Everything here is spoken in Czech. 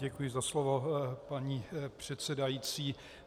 Děkuji za slovo, paní předsedající.